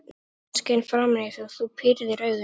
Sólin skein framan í þig og þú pírðir augun.